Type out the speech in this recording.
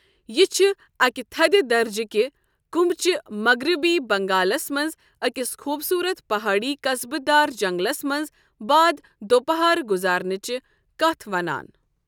یہِ چھےٚ اکہ تھدِ درجِكہِ كُمبٕچہِ ،مغربی بنگالس منٛز أکِس خوٗبصورت پہٲڑی قصبہٕ دار جنٛگلس منٛز بعد دوپہر گزارنچہِ كتھ ونان۔